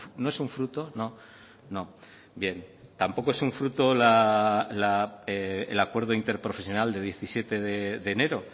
no es un fruto no no bien tampoco es fruto el acuerdo interprofesional de diecisiete de enero